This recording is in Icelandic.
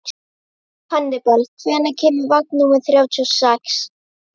Hannibal, hvenær kemur vagn númer þrjátíu og sex?